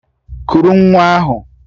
Kuru nwa ahụ!